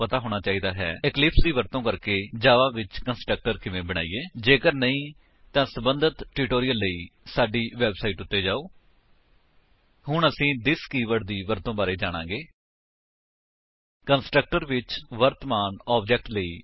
HTTP ਡਬਲਯੂਡਬਲਯੂਡਬਲਯੂਡਬਲਯੂਡਬਲਯੂਡਬਲਯੂਡਬਲਯੂਡਬਲਯੂਡਬਲਯੂਡਬਲਯੂਡਬਲਯੂਡਬਲਯੂਡਬਲਯੂਡਬਲਯੂਡਬਲਯੂਡਬਲਯੂਡਬਲਯੂਡਬਲਯੂਡਬਲਯੂਡਬਲਯੂਡਬਲਯੂਡਬਲਯੂਡਬਲਯੂਡਬਲਯੂਡਬਲਯੂਡਬਲਯੂਡਬਲਯੂਡਬਲਯੂਡਬਲਯੂਡਬਲਯੂਡਬਲਯੂਡਬਲਯੂਡਬਲਯੂਡਬਲਯੂਡਬਲਯੂਡਬਲਯੂਡਬਲਯੂਡਬਲਯੂਡਬਲਯੂਡਬਲਯੂ